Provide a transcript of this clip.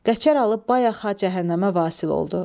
Qəçər Alı bayaqca cəhənnəmə vasil oldu.